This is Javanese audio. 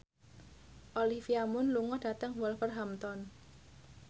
Olivia Munn lunga dhateng Wolverhampton